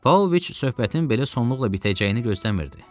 Pavloviç söhbətin belə sonluqla bitəcəyini gözləmirdi.